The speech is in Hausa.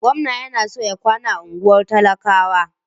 Gwamna yana so ya kwana a unguwar talakawa.